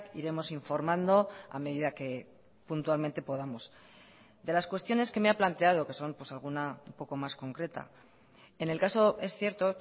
iremos informando a medida que puntualmente podamos de las cuestiones que me ha planteado que son alguna un poco más concreta en el caso es cierto